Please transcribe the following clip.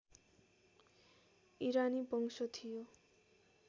इरानी वंश थियो